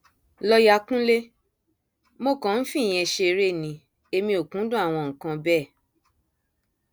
lọọyà kúnlẹ mo kàn ń fìyẹn ṣeré ni èmi ò kúndùn àwọn nǹkan bẹẹ